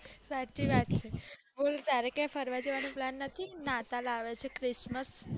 સાચી વાત છે બોલ તારે ક્યાય ફરવા જવાનો plan નથી નાતાલ આવે છે christmas